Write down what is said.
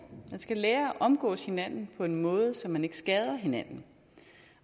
skal lære at omgås hinanden på en måde så man ikke skader hinanden